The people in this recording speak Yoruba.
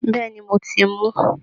Bẹ́ẹ̀ ni, mo ti mú